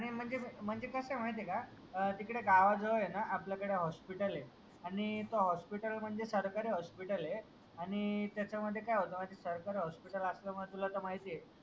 आणि म्हणजे, म्हणजे कसं आहे माहिती आहे का तिकडे गावाजवळ आहे ना आपलं कडे हॉस्पिटल आहे आणि ते हॉस्पिटल म्हणजे सरकारी हॉस्पिटल आहे आणि त्याच्यामध्ये काय होतं माहिती आहे का सरकारी हॉस्पिटल असल्यामुळे तुला तर माहितीये